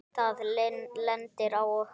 Það lendir á okkur.